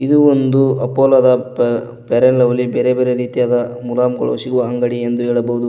ಇದು ಒಂದು Apollo the ಪೇ ಫೇರ್ ಅಂಡ್ ಲವ್ಲಿ ಬೇರೆ ಬೇರೆ ರೀತಿಯಾದ ಮುಲಾಮಗಳು ಸಿಗುವ ಅಂಗಡಿ ಎಂದು ಹೇಳಬಹುದು.